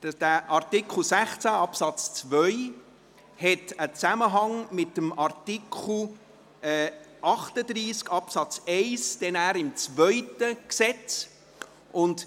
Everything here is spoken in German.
Der Artikel 16 Absatz 2 hat einen Zusammenhang mit dem Artikel 38 Absatz 1 des zweiten Gesetzes.